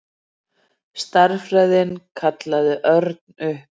Stærðfræðin kallaði Örn upp.